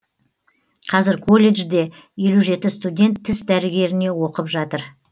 қазір колледжде елу жеті студент тіс дәрігеріне оқып жатыр